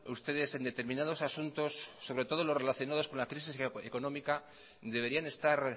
ustedes en determinados asuntos sobre todo los relacionados con la crisis económica deberían estar